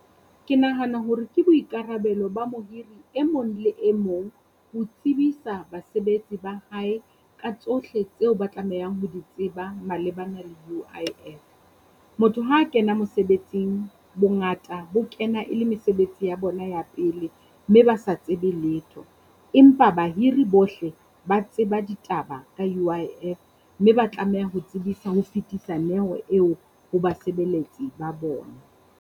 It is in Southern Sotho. Ke nahana hore ke boikarabelo ba mohiri e mong le e mong ho tsebisa basebetsi ba hae ka tsohle tseo ba tlamehang ho di tseba malebana le U_I_F. Motho ha kena mosebetsing bongata bo kena e le mesebetsi ya bona ya pele mme ba sa tsebe letho. Empa bahiri bohle ba tseba ditaba ka U_I_F, mme ba tlameha ho tsebisa ho fetisa neo eo ho basebeletsi ba bona.